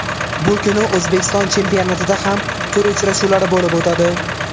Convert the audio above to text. Bu kuni O‘zbekiston chempionatida ham tur uchrashuvlari bo‘lib o‘tadi.